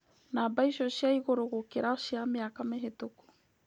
Namba icio ni cia igũrũ gũkira cia miaka mihitũku.